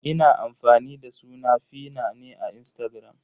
Ina amfani da suna 'feena" ne a Instagram.